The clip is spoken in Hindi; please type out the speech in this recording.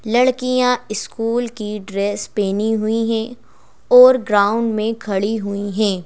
लड़कियां स्कूल की ड्रेस पहनी हुई हैं और ग्राउंड में खड़ी हुई हैं।